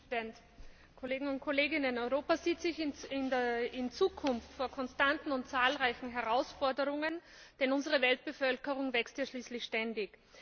Herr Präsident, Kolleginnen und Kollegen! Europa sieht sich in Zukunft vor konstanten und zahlreichen Herausforderungen, denn unsere Weltbevölkerung wächst ja schließlich ständig.